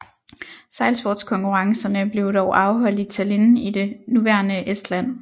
Sejlsportskonkurrencerne blev dog afholdt i Tallinn i det nuværende Estland